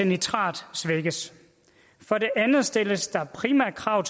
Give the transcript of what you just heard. nitrat svækkes for det andet stilles der primært krav